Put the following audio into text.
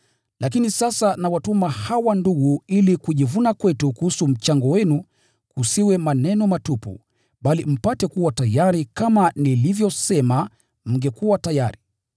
Lakini sasa nawatuma hawa ndugu ili kujivuna kwetu kuhusu mchango wenu kusiwe maneno matupu, bali mpate kuwa tayari kama nilivyosema mngekuwa tayari.